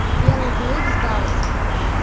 белый клык сдался